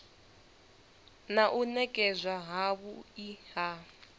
na u nekedzwa havhui ha